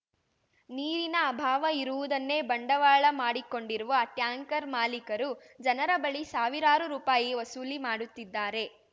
ನೀರಿನ ಅಭಾವ ಇರುವುದನ್ನೇ ಬಂಡವಾಳ ಮಾಡಿಕೊಂಡಿರುವ ಟ್ಯಾಂಕರ್ ಮಾಲೀಕರು ಜನರ ಬಳಿ ಸಾವಿರಾರು ರೂಪಾಯಿ ವಸೂಲಿ ಮಾಡುತ್ತಿದ್ದಾರೆ